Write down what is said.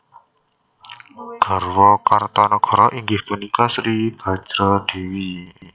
Garwa Kertanagara inggih punika Sri Bajradewi